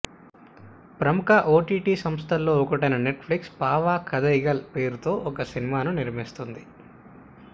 ప్రముఖ ఓటీటీ సంస్థలలో ఒకటైన నెట్ ఫ్లిక్స్ పావ కథైగాల్ పేరుతో ఒక సినిమాను నిర్మిస్తోంది